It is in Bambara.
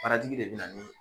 de bɛ na ni